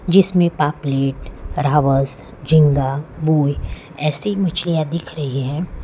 जिसमें पापुलेट रावत रावत झींगा मूवी ऐसी मछलियां दिख रही है।